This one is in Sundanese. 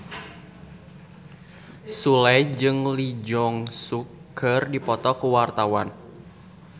Sule jeung Lee Jeong Suk keur dipoto ku wartawan